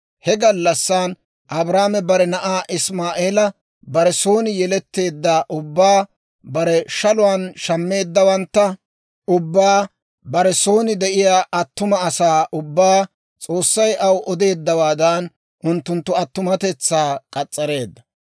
He gallassan Abrahaame bare na'aa Isimaa'eela, bare son yeletteedda ubbaa, bare shaluwaan shammeeddawantta ubbaa, bare son de'iyaa attuma asaa ubbaa, S'oossay aw odeeddawaadan unttunttu attumatetsaa k'as's'areedda.